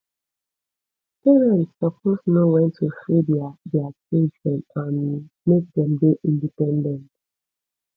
parents suppose know wen to free their their children um make dem dey independent